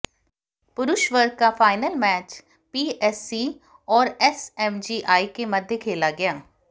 पुरुष वर्ग का फाइनल मैच पीएससी और एसएमजीआई के मध्य खेला गया